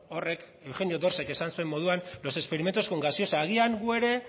horrek eugenio bostehunors ek esan zuen moduan los experimentos con gaseosa agian guk ere